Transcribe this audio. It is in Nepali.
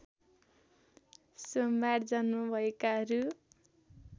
सोमबार जन्म भएकाहरू